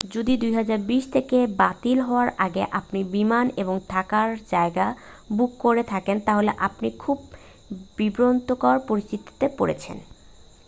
যদি 2020-তে বাতিল হওয়ার আগে আপনি বিমান এবং থাকার জায়গা বুক করে থাকেন তাহলে আপনি খুব বিব্রতকর পরিস্থিতিতে পড়েছেন